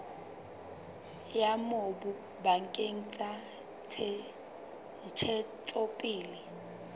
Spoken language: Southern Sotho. ya mobu bakeng sa ntshetsopele